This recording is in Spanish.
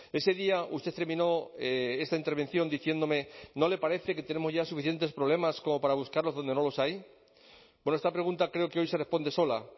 ese día usted terminó esta intervención diciéndome no le parece que tenemos ya suficientes problemas como para buscarlos donde no los hay esta pregunta creo que hoy se responde sola